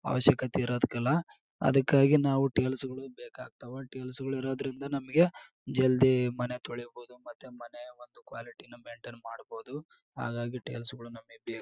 ಅವಶ್ಯಕತೆ ಇರೋದಕ್ಕೆಲ್ಲಾ ಅದಕ್ಕಾಗಿ ನಾವು ಟೀಲ್ಸ್ಗಳು ಬೇಕಾಗತ್ವ ಟೀಲ್ಸ್ಗಳು ಇರೋದ್ರಿಂದ ನಮಗೆ ಜಲ್ದಿ ಮನೆ ತೊಳಿಬಹುದು ಮತ್ತು ಮನೆ ಒಂದು ಕ್ವಾಲಿಟಿನು ಮೇಂಟೇಯ್ನ್ ಮಾಡಬಹುದು ಹಾಗಾಗಿ ಟೀಲ್ಸ್ಗಳು ನಮಗೆ ಬೇಕು .